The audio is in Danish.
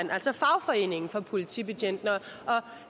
altså fagforeningen for politibetjentene